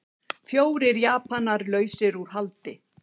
Fjórir Japanar lausir út haldi